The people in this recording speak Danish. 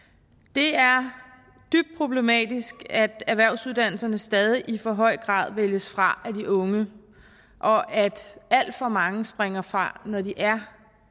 det er dybt problematisk at erhvervsuddannelserne stadig i for høj grad vælges fra af de unge og at alt for mange springer fra når de er